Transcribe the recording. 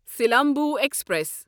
Silambu express